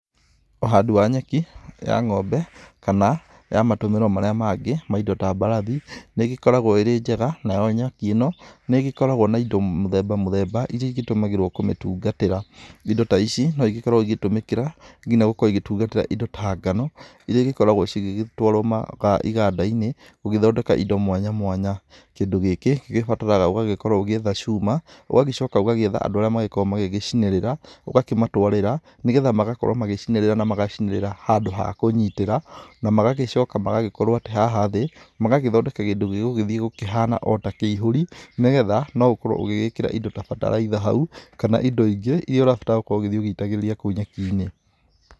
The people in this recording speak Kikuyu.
Ũhandi wa nyeki ya ng'ombe kana ya matũmĩro marĩa mangĩ ma ĩndo ta mbarathi nĩ ĩgĩkoragwo ĩrĩ njega nayo nyeki ĩno nĩ ĩgĩkoragwo na ĩndo mũthemba mũthemba ĩria ĩtũmagĩrwo kũmĩtungatĩra. Ĩndo ta ici no ĩgĩkoragwo ĩgĩtũmĩka nginya gũkorwo ĩgĩtungatĩra ĩndo ta ngano ĩrĩa gĩkoragwo cigĩtwarwo ĩganda-inĩ gũgĩthondeka indo mwanya mwanya. Kĩndũ gĩkĩ gĩbataraga ũgagĩkorwo ũgĩetha cuma ũgagĩcoka ũgagĩetha andũ arĩa magĩkoragwo magĩcinĩrĩra ũgakĩmatwarĩra nĩgetha magakorwo magĩcinĩrĩra na magacinĩrĩra handũ ha kũnyitĩra na magagĩcoka magagĩkorwo atĩ haha thĩ magagĩthondeka kĩndũ gĩgũgĩthiĩ kũhana otakĩihũri, nĩgetha no ũkorwo ũgĩgĩkĩra indo ta bataraitha hau kana indo ingĩ irĩa ũrabatara gũgĩthiĩ ũgĩitagĩrĩria kũu nyeki-inĩ.